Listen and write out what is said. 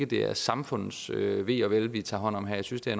det er samfundets ve og vel vi tager hånd om her jeg synes det